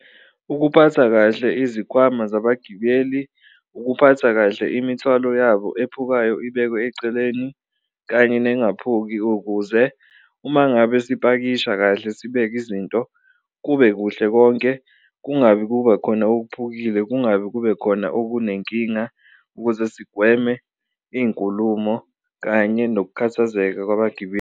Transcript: Ukuphatha kahle izikhwama zabagibeli, ukuphatha kahle imithwalo yabo ephukayo ibekwe eceleni kanye nengaphuki ukuze uma ngabe sipakisha kahle sibeke izinto kube kuhle konke. Kungabi kuba khona okuphukile, kungabi kube khona okunenkinga ukuze sigweme iy'nkulumo kanye nokukhathazeka kwabagibeli.